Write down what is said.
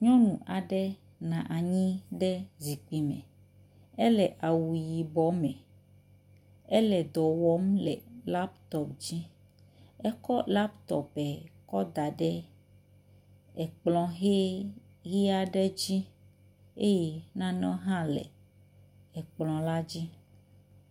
Nyɔnu aɖe nɔ anyi ɖe zikpui me. Ele awu yibɔ me. Ele edɔ wɔm le latɔpu dzi. Ekɔ latɔpu kɔ da ɖe ekplɔ hɛɛ lia ɖe eŋutsi eye nanewo hã le ekplɔ la dzi.